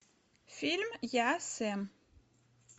фильм я сэм